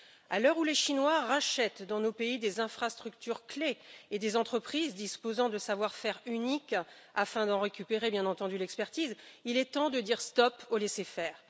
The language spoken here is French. À l'heure où les Chinois rachètent dans nos pays des infrastructures clés et des entreprises disposant de savoir faire uniques, afin d'en récupérer bien entendu l'expertise, il est temps de dire stop au laisser faire.